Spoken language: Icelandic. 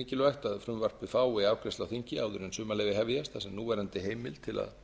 mikilvægt að frumvarpið fái afgreiðslu á þingi áður en sumarleyfi hefjast þar sem núverandi heimild til að